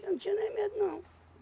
Eu não tinha nem medo, não.